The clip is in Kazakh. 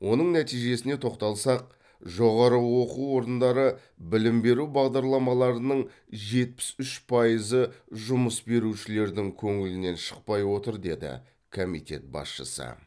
оның нәтижесіне тоқталсақ жоғары оқу орындары білім беру бағдарламаларының жетпіс үш пайызы жұмыс берушілердің көңілінен шықпай отыр деді комитет басшысы